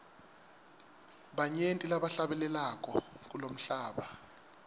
banyenti labahlabelako kulomhlaba